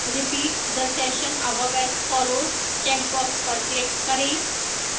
repeat the session above as follows checkbox पर click करें